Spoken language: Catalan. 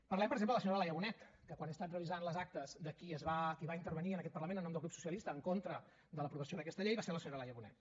parlem per exemple de la senyora laia bonet que quan he estat revisant les actes de qui va intervenir en aquest parlament en nom del grup socialista en contra de l’aprovació d’aquesta llei va ser la senyora laia bonet